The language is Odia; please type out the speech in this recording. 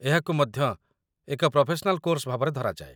ଏହାକୁ ମଧ୍ୟ ଏକ ପ୍ରଫେସନାଲ୍ କୋର୍ସ ଭାବରେ ଧରାଯାଏ